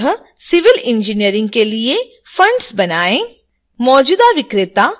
इसके तहत civil engineering के लिए funds बनाएँ